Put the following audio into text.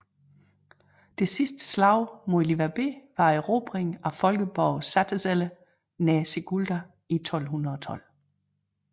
Det sidste slag mod liverbe var erobringen af folkeborgen Satezele nær Sigulda i 1212